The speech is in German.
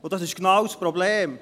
Und das ist genau das Problem.